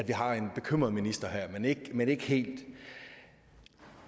bekymret minister her men ikke helt